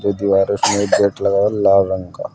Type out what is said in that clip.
ये दीवार है उसमें एक गेट लगा हुआ है लाल रंग का।